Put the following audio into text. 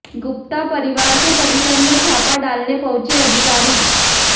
गुप्ता परिवार के परिसर में छापा डालने पहुंचे अधिकारी